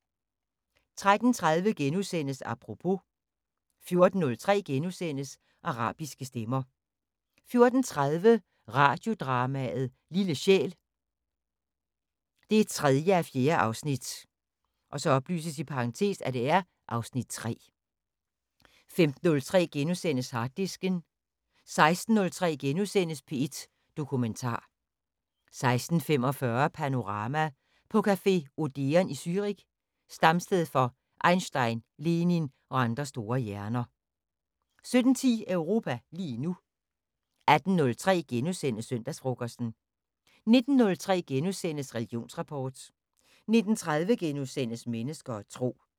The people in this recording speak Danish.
13:30: Apropos * 14:03: Arabiske stemmer * 14:30: Radiodrama: Lille sjæl 3:4 (Afs. 3) 15:03: Harddisken * 16:03: P1 Dokumentar * 16:45: Panorama: På café Odeon i Zürich, stamsted for Einstein, Lenin og andre store hjerner * 17:10: Europa lige nu 18:03: Søndagsfrokosten * 19:03: Religionsrapport * 19:30: Mennesker og Tro *